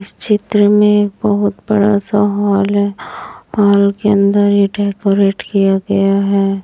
इस चित्र में बहुत बड़ा सा हॉल है हॉल के अंदर ये डेकोरेट किया गया है।